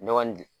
Ne kɔni